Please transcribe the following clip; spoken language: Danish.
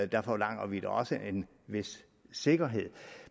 der forlanger vi da også en vis sikkerhed